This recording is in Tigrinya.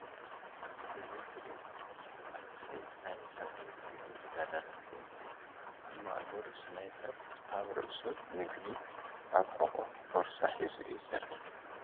እዚ ትርኢዎ ዘለኩም መንእሰይ ናይ ሰራዊት ትግራይ ተጋዳላይ ኮይኑ ኣብ ማእገሩ ስናይበር ኣብ ርእሱ ምግቢ ኣብ ሑቁ ቦርሳ ሒዙ እዩ ዘርኢ።